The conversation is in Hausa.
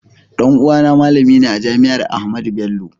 Ɗan uwa na malami ne a jami'ar Ahmadu Bello